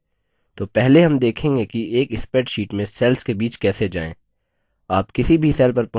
तो पहले हम देखेंगे कि एक spreadsheet में cell के बीच कैसे जाएँ